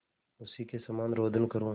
उसी के समान रोदन करूँ